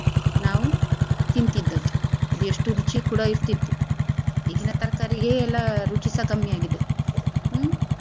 ನಾವು ತಿಂತಿದ್ದದ್ದು ಎಷ್ಟು ರುಚಿ ಕೂಡ ಇರ್ತಿತ್ತು ಈಗಿನ ತರ್ಕಾರಿಗೆ ಎಲ್ಲಾ ರುಚಿಸಾ ಕಡಿಮೆ ಆಗಿದೆ ಹ್ಮ್.